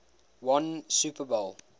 won super bowl